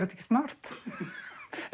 ekki smart